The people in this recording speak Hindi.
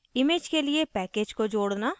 image के लिए package को जोडना